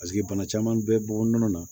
Paseke bana caman bɛ bɔ nɔnɔ na